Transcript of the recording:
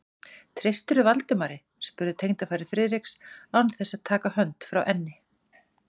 Treystirðu Valdimari? spurði tengdafaðir Friðriks án þess að taka hönd frá enni.